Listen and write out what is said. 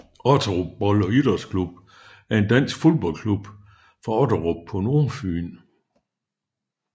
Otterup Bold og Idrætsklub er en dansk fodboldklub fra Otterup på Nordfyn